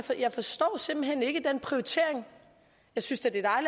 jeg forstår simpelt hen ikke den prioritering jeg synes da det